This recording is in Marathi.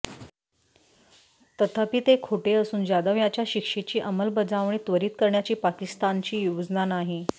तथापि ते खोटे असून जाधव यांच्या शिक्षेची अंमलबजावणी त्वरित करण्याची पाकिस्तानची योजना नाही